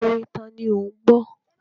Orin tani ò ń gbọ́?